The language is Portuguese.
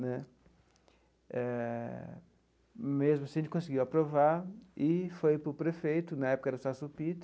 Né eh mesmo assim, a gente conseguiu aprovar e foi para o prefeito, na época era o Celso Pitta,